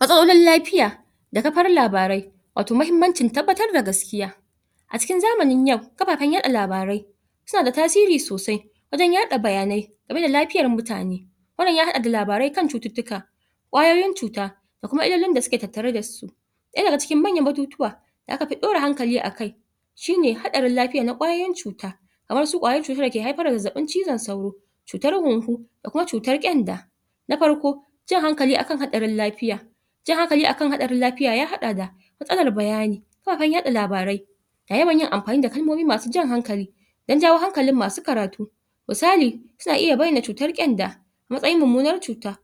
matsalolin lafiya da kafar labarai wato mahimmancin tabbatar da gaskiya a cikin zamanin yau kafafenn yaɗa labarai suna da tasiri sosai wajen yaɗa bayanai game da lafiyar mutane wannan ya haɗa da labarai kan cututtuka ƙwayoyin cuta da kuma illolin da suke tattare da su ɗaya daga cikin manyan batutuwa da aka fi ɗora hankali a kai shi ne haɗarin lafiya na ƙwayoyin cuta kamar su ƙwayar cutar da ke haifar da zazzaɓin cizon sauro cutar hunhu da kuma cutar ƙyanda na farko jan hankali a kan haɗarin lafiya jan hankali akan haɗarin lafiya ya haɗa da matsalar bayani kafafen yaɗa labarai da yawan yin amfani da kalmomi masu jan hankali dan jawo hankalin masu karatu misali suna iya bayyana cutar ƙyanda a matsayin mummunar cuta